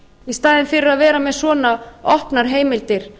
í staðinn fyrir að vera með svona opnar heimildir